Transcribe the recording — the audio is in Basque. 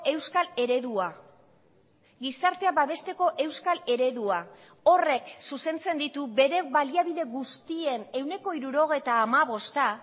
euskal eredua gizartea babesteko euskal eredua horrek zuzentzen ditu bere baliabide guztien ehuneko hirurogeita hamabosta